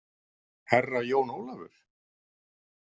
Herra Jón Ólafur?